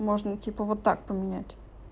можно типа вот так поменять